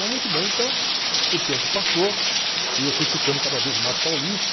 Mas muito bem, então o tempo passou e eu fui ficando cada vez mais paulista.